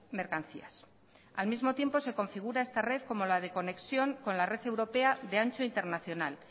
mercancías al mismo tiempo se configura esta red como la de conexión con la red europea de ancho internacional